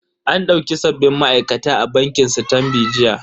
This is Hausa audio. An dauki sabbin ma'aikata a bankin sitanbi jiya.